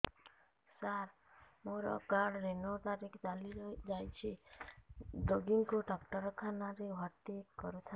ସାର ମୋର card renew ତାରିଖ ଚାଲି ଯାଇଛି ରୋଗୀକୁ ଡାକ୍ତରଖାନା ରେ ଭର୍ତି କରିଥାନ୍ତି